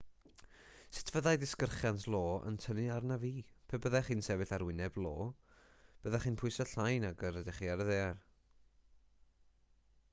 sut fyddai disgyrchiant io yn tynnu arnaf fi pe byddech chi'n sefyll ar wyneb io byddech chi'n pwyso llai nag yr ydych chi ar y ddaear